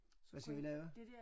Hvad skal vi lave?